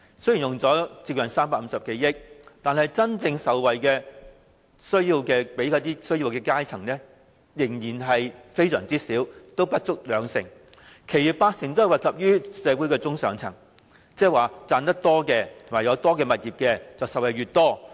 雖然政府用了接近350多億元，但真正惠及有需要階層的仍然少至不足兩成，其餘八成均惠及社會的中上層，即是賺錢越多、擁有物業越多的便受惠越多。